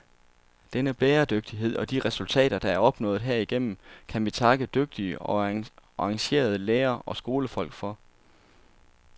Denne bæredygtighed og de resultater, der er opnået herigennem, kan vi takke dygtige og engagerede lærere og skolefolk for.